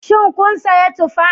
Shin kun sayi tufa?